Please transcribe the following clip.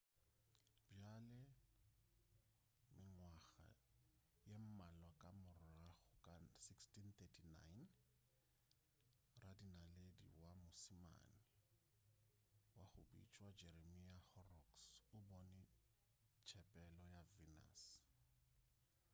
bjale mengwaga ye mmalwa ka morago ka 1639 radinaledi wa moismane wa go bitšwa jeremiah horrocks o bone tshepelo ya venus